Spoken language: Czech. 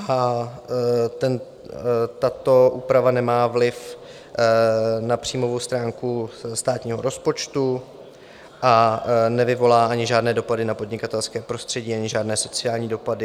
Tato úprava nemá vliv na příjmovou stránku státního rozpočtu a nevyvolá ani žádné dopady na podnikatelské prostředí ani žádné sociální dopady.